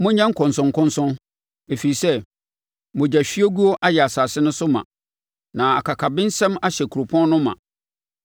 “ ‘Monyɛ nkɔnsɔnkɔnsɔn! Ɛfiri sɛ mogyahwiegu ayɛ asase no so ma, na akakabensɛm ahyɛ kuropɔn no ma.